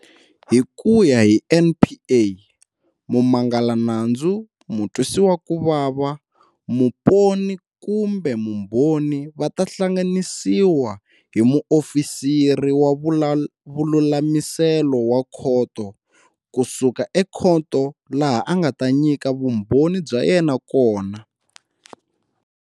Hi ku ya hi NPA, mumangalanandzu, mutwisiwakuvava, muponi kumbe mbhoni va ta hlanganisiwa hi muofisiri wa vululamiselo wa khoto ku suka ekhoto laha a nga ta nyika vumbhoni bya yena kona.